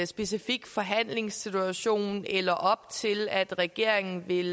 specifik forhandlingssituation eller op til at regeringen vil